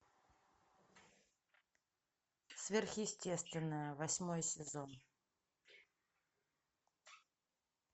сверхъестественное восьмой сезон